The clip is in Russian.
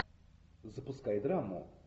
запускай драму